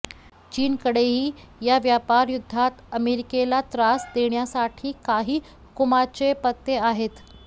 चीनकडेही या व्यापारयुद्धात अमेरिकेला त्रास देण्यासाठी काही हुकमाचे पत्ते आहेत